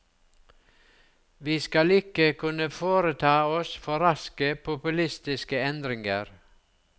Vi skal ikke kunne foreta oss for raske, populistiske endringer.